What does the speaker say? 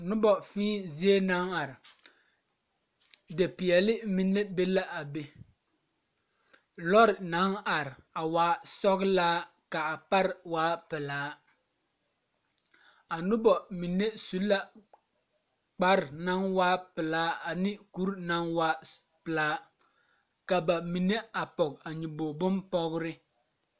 Noba fēē zie naŋ are depeɛle mine be la a be lɔre naŋ are waa sɔɡelaa ka a pare waa pelaa a noba mine su la kpar naŋ waa pelaa ane kure naŋ waa pelaa ka a mime pɔɡe a nyoboɡri bompɔɡere.